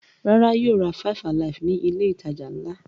Rárá, yóò ra five-alive ní ilé-ìtajà ńlá.